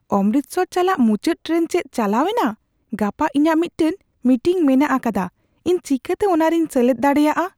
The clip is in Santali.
ᱚᱢᱨᱤᱛᱥᱚᱨ ᱪᱟᱞᱟᱜ ᱢᱩᱪᱟᱹᱫ ᱴᱨᱮᱱ ᱪᱮᱫ ᱪᱟᱞᱟᱣ ᱮᱱᱟ ? ᱜᱟᱯᱟ ᱤᱧᱟᱜ ᱢᱤᱫᱴᱟᱝ ᱢᱤᱴᱤᱝ ᱢᱮᱱᱟᱜ ᱟᱠᱟᱫᱟ, ᱤᱧ ᱪᱤᱠᱟᱹᱛᱮ ᱚᱱᱟᱨᱮᱧ ᱥᱮᱞᱮᱫ ᱫᱟᱲᱮᱭᱟᱜ ?